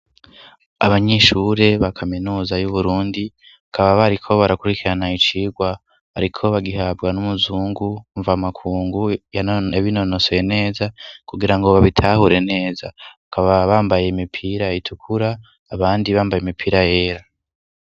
Abanyeshure ba kaminuza y'uburundi ,bakaba bariko barakurikirana icigwa bariko bagihabwa n'umuzungu mva makungu, yabinonosoye neza kugira ngo babitahure neza, kaba bambaye imipira itukura ,abandi bambaye imipira yera.